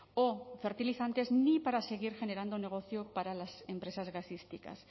o fertilizantes ni para seguir generando negocio para las empresas gasísticas